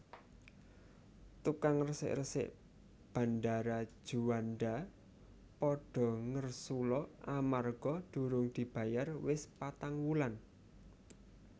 Tukang resik resik Bandara Juanda podo ngersula amarga durung dibayar wis patang wulan